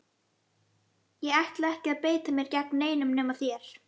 Ég ætla ekki að beita mér gegn neinum nema þér!